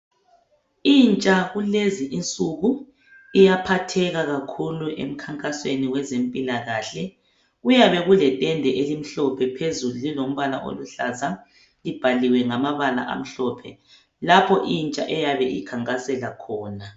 Intsha kulezi insuku iyaphatheka kakhulu emkhankasweni wezempilakahle. Kuyabe kuletende elimhlophe phezulu kulombala oluhlaza libhaliwe ngamabala amhlophe lapho intsha eyabe ikhankasela khona.